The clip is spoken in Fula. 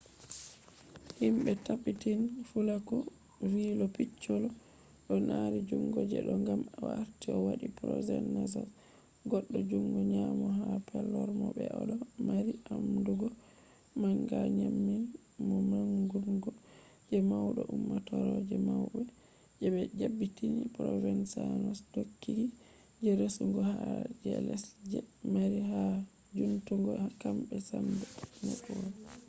himbe tabbitan fulaku vi lo piccolo do mari jungo je do gam o arti o wadi provenzano’s goddo jungo nyamo ha palermo be odo mari amdugo manga nyamin mo mangungo je maudo ummatore je maube je be dabbiti provenzano’s dokoki je resugo har je less je mari ha jutungo kambe sambe network